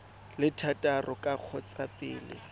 le thataro ka kgotsa pele